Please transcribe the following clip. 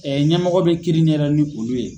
ɲɛmɔgɔ bɛ kiiri ɲɛdɔn ni olu ye.